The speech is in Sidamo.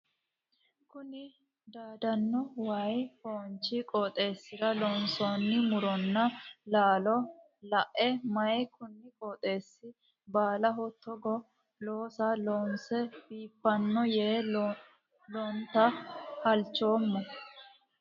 Kunni daadano wayi foonchi qooxeesira loonsoonni muronna laallo lae mayi kunni qooxeesi baalaho togoo looso loonse biifala yee lonta halchoomo.